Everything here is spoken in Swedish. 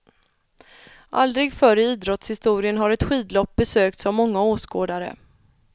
Aldrig förr i idrottshistorien har ett skidlopp besökts av många åskådare.